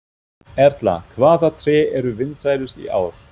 Erla, hvaða tré eru vinsælust í ár?